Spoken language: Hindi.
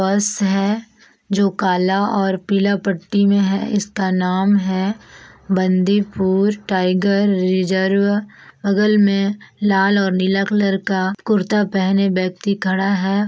बस है जो काला और पीला पट्टी में है इसका नाम है बंदीपुर टाइगर रिजर्व बगल में लाल और नीला कलर का कुर्ता पेहने व्यक्ति खड़ा है।